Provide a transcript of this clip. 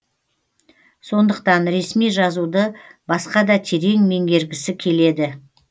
соныдқтан ресми жазуды басқада терең меңгергісі келеді